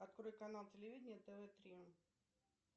открой канал телевидения тв три